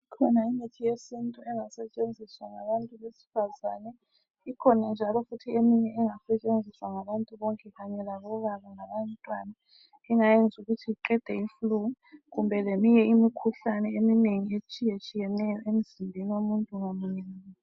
Ikhona imithi yesintu engasetshenziswa ngabantu besifazane. Ikhona njalo eminye futhi engasetshenziswa ngabantu bonke kanye labobaba labantwana engayenza ukuthi iqede i"flu" kumbe leminye imikhuhlane etshiyetshiyeneyo emzimbeni womuntu ngamunye ngamunye.